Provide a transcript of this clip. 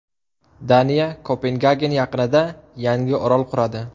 Daniya Kopengagen yaqinida yangi orol quradi.